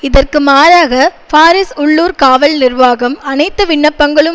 இதற்கு மாறாக பாரிஸ் உள்ளூர் காவல் நிர்வாகம் அனைத்து விண்ணப்பங்களும்